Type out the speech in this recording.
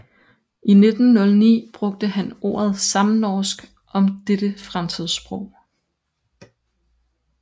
I 1909 brugte han ordet samnorsk om dette fremtidssprog